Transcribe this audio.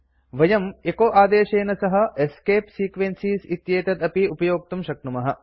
वयं एचो आदेशेन सह एस्केप सीक्वेंसेस् इत्येतत् अपि उपयोक्तुं शक्नुमः